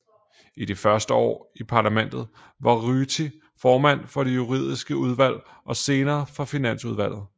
I de første år i parlamentet var Ryti formand for det juridiske udvalg og senere for finansudvalget